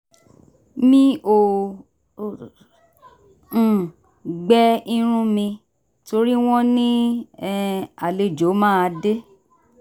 mi ò um gbẹ irun mi torí wọ́n ní um àlejò máa dé